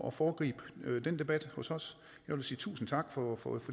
at foregribe den debat hos os jeg vil sige tusind tak for